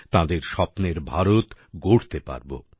তাঁদের স্বপ্নের ভারত গড়তে পারবো